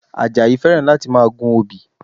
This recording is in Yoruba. Àjàyí fẹ́ràn láti máa gun obì